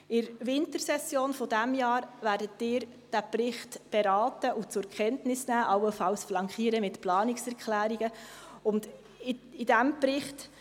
In der Wintersession dieses Jahres werden Sie diesen Bericht beraten, zur Kenntnis nehmen und allenfalls mit Planungserklärungen flankieren.